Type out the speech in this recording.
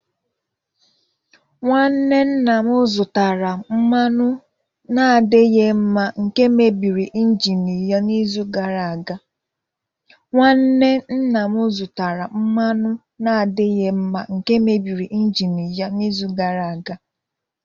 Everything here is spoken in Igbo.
Nwanne nna m zụtara mmanụ na-adịghị mma nke mebiri injini ya n'izu gara aga.